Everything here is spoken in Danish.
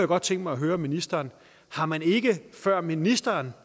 godt tænke mig at høre ministeren har man ikke før ministeren